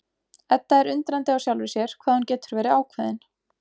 Edda er undrandi á sjálfri sér hvað hún getur verið ákveðin.